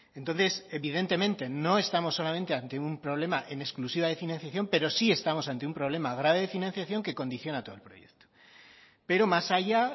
entonces evidentemente no estamos solamente ante un problema en exclusiva de financiación pero sí estamos ante un problema grave de financiación que condiciona todo el proyecto pero más allá